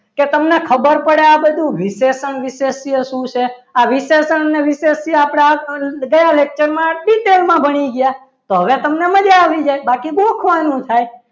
કે તમને ખબર પડે આ બધું વિશેષણ વિશે શું છે આ વિશેષણ ને આ બધું ગયા lecture માં detail માં ભણી ગયા તો હવે તમને મજા આવી જાય બાકી ગોખવાનું થાય